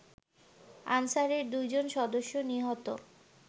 আনসারের দুই জন সদস্য নিহত